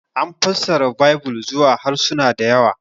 An fassara Baibil izuwa harsuna da yawa.